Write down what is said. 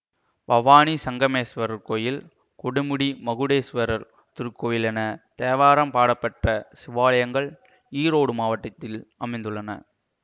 பவானி சங்கமேசுவரர் கோயில் கொடுமுடி மகுடேஸ்வரர் திருக்கோயில் என தேவாரம் பாடல் பெற்ற சிவாலயங்கள் ஈரோடு மாவட்டத்தில் அமைந்துள்ளன